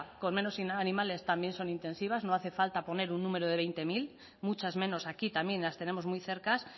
con menos animales también son intensivas no hace falta poner un número de veinte mil muchas menos aquí también las tenemos muy cerca